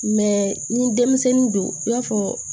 ni denmisɛnnin don i b'a fɔ